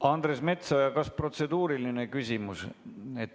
Andres Metsoja, kas protseduuriline küsimus?